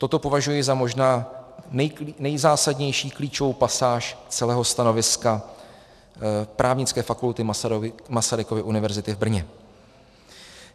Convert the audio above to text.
Toto považuji možná za nejzásadnější klíčovou pasáž celého stanoviska Právnické fakulty Masarykovy univerzity v Brně.